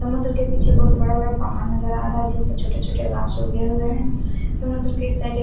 समुन्दर के पीछे बोहोत बड़ा बड़ा पहाड़ नज़र आ रहा है जिसमे छोटे छोटे उगे हुए है समुन्दर के साइड --